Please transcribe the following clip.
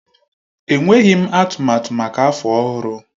Enweghị m atụmatụ maka afọ ọhụrụ.